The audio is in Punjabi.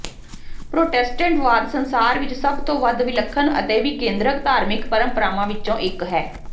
ਪ੍ਰੋਟੈਸਟੈਂਟਵਾਦ ਸੰਸਾਰ ਵਿਚ ਸਭ ਤੋਂ ਵੱਧ ਵਿਲੱਖਣ ਅਤੇ ਵਿਕੇਂਦਰਕ ਧਾਰਮਿਕ ਪਰੰਪਰਾਵਾਂ ਵਿਚੋਂ ਇਕ ਹੈ